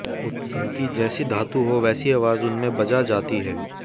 उनकी जैसी धातु हो वैसी आवाज़ उनमें बजा जाती है